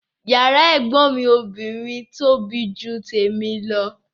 Yàrá ẹ̀gbọ́n mi obìnrin tóbi ju tèmi lọ